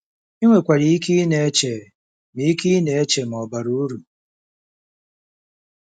I nwekwara ike ịna-eche ma ike ịna-eche ma ọ̀ bara uru.